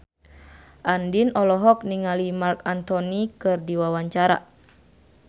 Andien olohok ningali Marc Anthony keur diwawancara